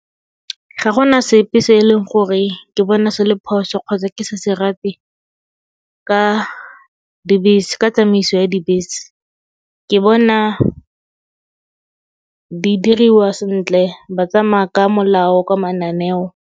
Ga gona sepe se e leng gore ke bona se le phoso kgotsa ke sa se rate ka dibese, ka tsamaiso ya dibese. Ke bona di diriwa sentle ba tsamaa ka molao, ka mananeo.